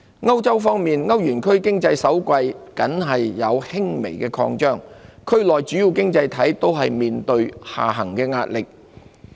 歐洲方面，歐元區經濟首季僅有輕微擴張，區內主要經濟體都面對下行壓力。